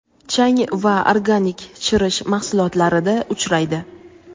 chang va organik chirish mahsulotlarida uchraydi.